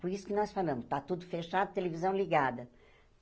Por isso que nós falamos, está tudo fechado, televisão ligada.